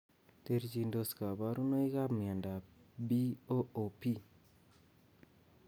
Terchindos kabarunoikap miondop BOOP